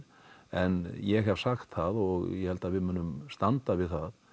en ég hef sagt það og ég held að við munum standa við það